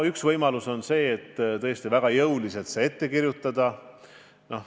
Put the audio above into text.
Üks võimalus on see väga jõuliselt ette kirjutada.